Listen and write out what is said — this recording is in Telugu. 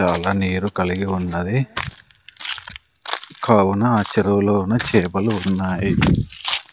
చాలా నీరు కలిగి ఉన్నది కావున ఆ చెరువు లోన చేపలు ఉన్నాయి.